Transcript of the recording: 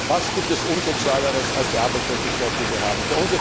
sozial. Was gibt es Unsozialeres als die Arbeitslosigkeit, die wir